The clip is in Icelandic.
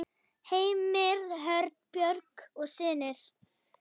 Heimir Örn, Björg og synir.